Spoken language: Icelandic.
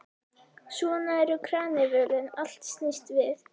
Svona eru karnivölin, allt snýst við.